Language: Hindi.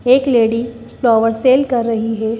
एक लेडी फ्लावर सेल कर रही है।